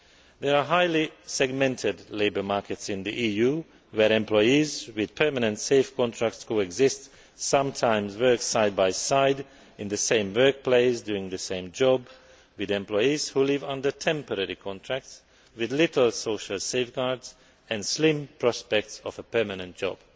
There are highly segmented labour markets in the EU where employees with permanent safe contracts coexist, and sometimes work side by side in the same workplace doing the same job, with employees who live under temporary contracts with few social safeguards and slim prospects of a permanent job.